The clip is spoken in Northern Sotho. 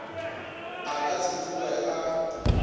a ka se tsoge a